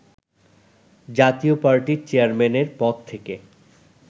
জাতীয় পার্টির চেয়ারম্যানের পদ থেকে